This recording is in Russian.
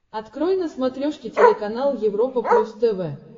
открой на смотрешке телеканал европа плюс тв